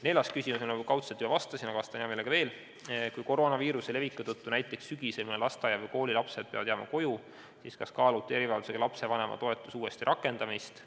Neljas küsimus, millele ma kaudselt juba vastasin, aga vastan hea meelega veel: "Kui koroonaviiruse leviku tõttu näiteks sügisel mõne lasteaia või kooli lapsed peavad jääma koju, siis kas kaalute erivajadusega lapse vanema toetuse uuesti rakendamist?